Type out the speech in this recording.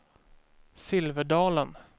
Silverdalen